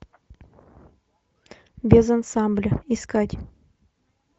без ансамбля искать